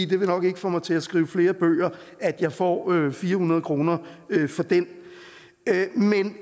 det vil nok ikke få mig til at skrive flere bøger at jeg får fire hundrede kroner for den